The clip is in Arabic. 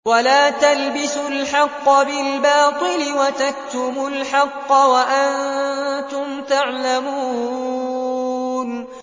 وَلَا تَلْبِسُوا الْحَقَّ بِالْبَاطِلِ وَتَكْتُمُوا الْحَقَّ وَأَنتُمْ تَعْلَمُونَ